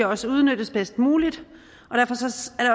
også udnyttes bedst muligt